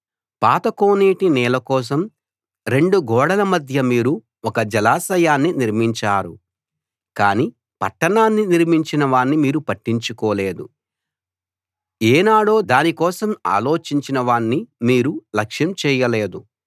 పాత కోనేటి నీళ్ళ కోసం రెండు గోడల మధ్య మీరు ఒక జలాశయాన్ని నిర్మించారు కానీ పట్టణాన్ని నిర్మించిన వాణ్ణి మీరు పట్టించుకోలేదు ఏనాడో దాని కోసం ఆలోచించిన వాణ్ణి మీరు లక్ష్యం చేయలేదు